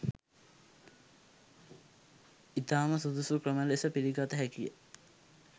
ඉතාම සුදුසු ක්‍රම ලෙස පිළිගත හැකිය.